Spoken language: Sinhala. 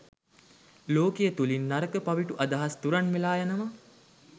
ලෝකය තුළින් නරක, පවිටු, අදහස් තුරන් වෙලා යනවා.